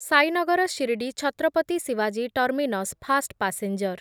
ସାଇନଗର ଶିରଡି ଛତ୍ରପତି ଶିବାଜୀ terminus fast passenger